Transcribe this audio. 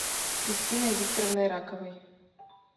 кристиной викторовной раковой